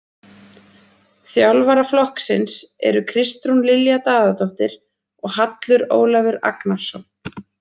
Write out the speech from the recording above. Þjálfara flokksins eru Kristrún Lilja Daðadóttir og Hallur Ólafur Agnarsson.